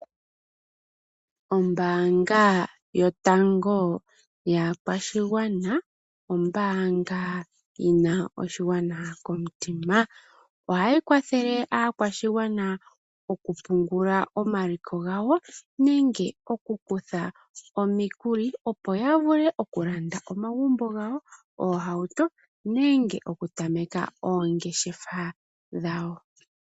Ombaanga yotango yaakwashigwana, ombaanga yina oshigwana komutima. Ohayi kwathele aakwashigwana oku pungula omaliko gawo nenge okukutha omikuli opo ya vule oku landa omagumbo gawo, oohauto nenge oku tameka oongeshefa dhawo.